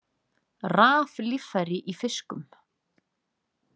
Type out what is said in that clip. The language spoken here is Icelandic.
Raflíffæri í fiskum